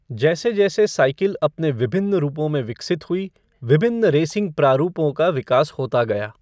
जैसे जैसे साइकिल अपने विभिन्न रूपों में विकसित हुई, विभिन्न रेसिंग प्रारूपों का विकास होता गया।